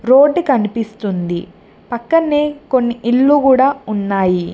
Road కనిపిస్తుంది పక్కన్నే కొన్ని ఇల్లులు గూడ ఉన్నాయి.